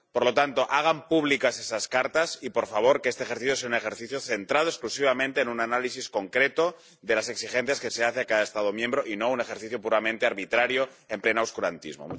Por lo tanto, hagan públicas esas cartas y, por favor, que este ejercicio sea un ejercicio centrado exclusivamente en un análisis concreto de las exigencias que se hacen a cada Estado miembro y no un ejercicio puramente arbitrario en pleno oscurantismo.